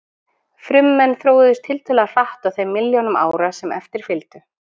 Frummenn þróuðust tiltölulega hratt á þeim milljónum ára sem eftir fylgdu.